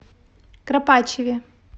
кропачеве